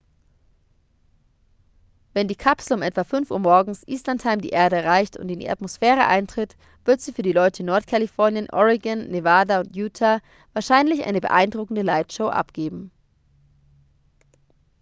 wenn die kapsel um etwa 5 uhr morgens eastern time die erde erreicht und in die atmosphäre eintritt wird sie für die leute in nordkalifornien oregon nevada und utah wahrscheinlich eine beeindruckende lightshow abgeben